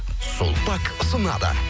сулпак ұсынады